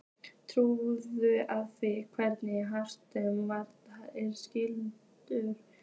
Túlkun á því hvernig aftasti varnarmaður er skilgreindur?